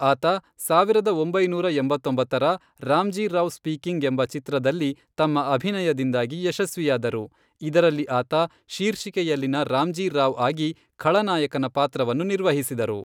ಆತ ಸಾವಿರದ ಒಂಬೈನೂರ ಎಂಬತ್ತೊಂಬತ್ತರ ರಾಮ್ಜೀ ರಾವ್ ಸ್ಪೀಕಿಂಗ್ ಎಂಬ ಚಿತ್ರದಲ್ಲಿ ತಮ್ಮ ಅಭಿನಯದಿಂದಾಗಿ ಯಶಸ್ವಿಯಾದರು, ಇದರಲ್ಲಿ ಆತ ಶೀರ್ಷಿಕೆಯಲ್ಲಿನ ರಾಮ್ಜೀ ರಾವ್ಆಗಿ ಖಳನಾಯಕನ ಪಾತ್ರವನ್ನು ನಿರ್ವಹಿಸಿದರು.